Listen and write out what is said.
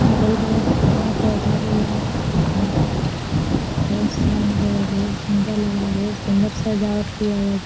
अलग-बगल पेड़-पौधा भी लग रहा है और बहुत सारी जगह है बहुत सुन्दर लग रहा है बहुत सुन्दर सजावट किया है।